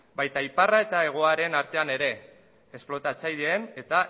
baita iparra eta hegoaren artean ere esplotatzaileen eta